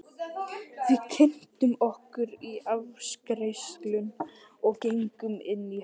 Við kynntum okkur í afgreiðslunni og gengum inn í herbergið.